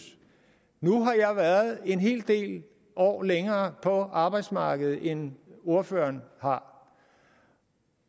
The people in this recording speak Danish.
nu har jeg været en hel del år længere på arbejdsmarkedet end ordføreren har